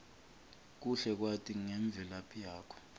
kuhle kwati ngemvelaphi yakho